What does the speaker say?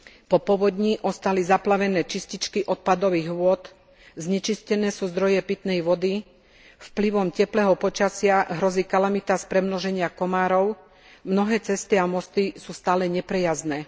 Po povodni ostali zaplavené čističky odpadových vôd, znečistené sú zdroje pitnej vody, vplyvom teplého počasia hrozí kalamita z premnoženia komárov, mnohé cesty a mosty sú stále neprejazdné.